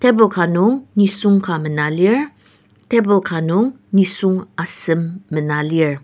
table ka nung nisung ka mena lir table ka nung nisung asem mena lir.